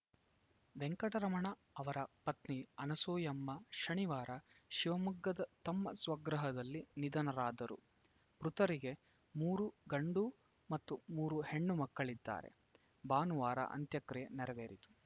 ವೆಂಕಟರಮಣ ಅವರ ಪತ್ನಿ ಅನುಸೂಯಮ್ಮ ಶನಿವಾರ ಶಿವಮೊಗ್ಗದ ತಮ್ಮ ಸ್ವಗೃಹದಲ್ಲಿ ನಿಧನರಾದರು ಮೃತರಿಗೆ ಮೂರು ಗಂಡು ಮತ್ತು ಮೂರು ಹೆಣ್ಣು ಮಕ್ಕಳಿದ್ದಾರೆ ಭಾನುವಾರ ಅಂತ್ಯಕ್ರಿಯೆ ನೆರವೇರಿತು